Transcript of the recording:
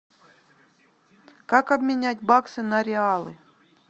как обменять баксы на реалы